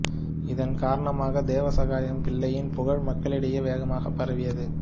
இதன் காரணமாக தேவசகாயம் பிள்ளையின் புகழ் மக்களிடையே வேகமாக பரவியது